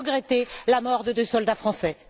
J'ai regretté la mort de deux soldats français.